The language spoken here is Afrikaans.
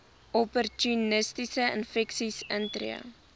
opportunistiese infeksies intree